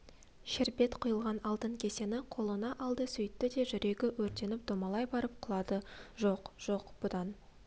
шербет құйылған алтын кесені қолына алды сөйтті де жүрегі өртеніп домалай барып құлады жоқ жоқ бұдан